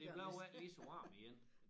Men det blev ikke lige så varmt igen